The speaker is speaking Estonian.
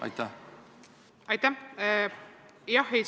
Aitäh!